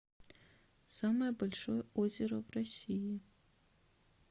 самое большое озеро в росии